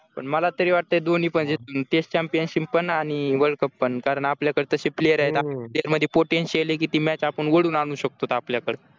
पण मला तरी वाटतंय दोन्ही म्हणजे test championship पण आणि world cup पण कारण आपल्याकडे तसे player आहेत आपल्यामध्ये potential आहे की ती match आपण ओढून आणू शकतो आपल्याकडे